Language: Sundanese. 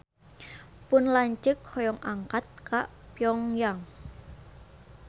Pun lanceuk hoyong angkat ka Pyong Yang